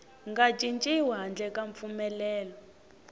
nga cinciwi handle ka mpfumelelo